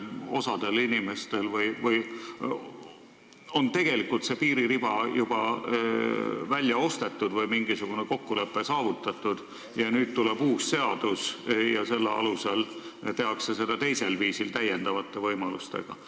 Osal inimestel on tegelikult see piiririba juba välja ostetud või mingisugune kokkulepe saavutatud ning nüüd tuleb uus seadus ja selle alusel tehakse seda teisel viisil täiendavate võimalustega.